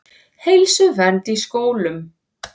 Heilsuvernd í skólum.